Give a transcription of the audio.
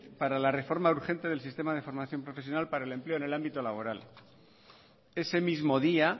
para la reforma urgente del sistema de formación profesional para el empleo en el ámbito laboral ese mismo día